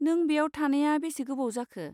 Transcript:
नों बेयाव थानाया बेसे गोबाव जाखो?